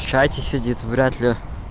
в чате сидит вряд-ли